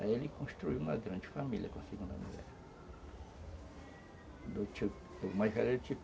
Aí ele construiu uma grande família com a segunda mulher.